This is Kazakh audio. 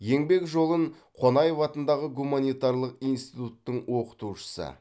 еңбек жолын қонаев атындағы гуманитарлық институттың оқытушысы